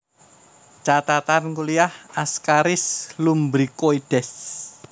Catatan Kuliah Ascaris lumbricoides